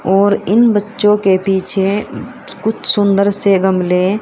और इन बच्चों के पीछे कुछ सुंदर से गमले--